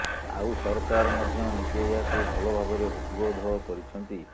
ଆଉ ସରକାର ମଧ୍ୟ ନିଜେ ଏହାକୁ ଭଲ ଭାବରେ ହୃଦବୋଧ କରିଛନ୍ତି